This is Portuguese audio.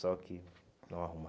Só que não arruma.